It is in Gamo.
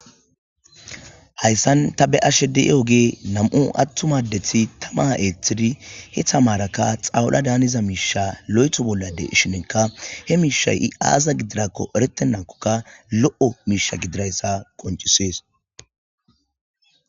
Haysan ta be'ayda diyogey nam"u atuma adeti tama ethid he tamaraka xawula daniza misha lo'itho bolla de'shinka he mishay izi aza gididako eretenakoka lo'o misha gididaysa qoncises.